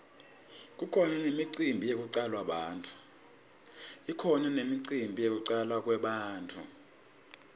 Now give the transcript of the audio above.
kukhona nemicimbi yekutalwa kwebantfu